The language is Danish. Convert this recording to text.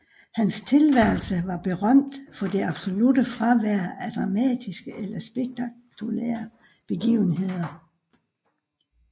Hans tilværelse var berømt for det absolutte fravær af dramatiske eller spektakulære begivenheder